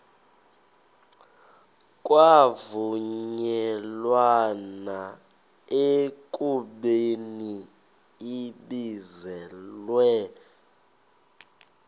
kwavunyelwana ekubeni ibizelwe